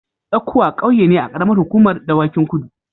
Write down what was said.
Tsakuwa ƙauye ne a ƙaramar hukumar Dawakin Kudu.